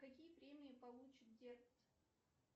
какие премии получит дерт